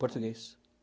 Português.